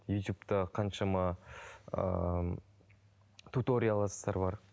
ютубта қаншама ыыы туторияластар бар